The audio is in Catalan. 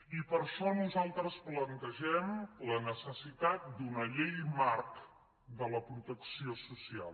i per això nosaltres plantegem la necessitat d’una llei marc de la protecció social